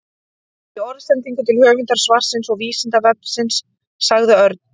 Í orðsendingu til höfundar svarsins og Vísindavefsins sagði Örn: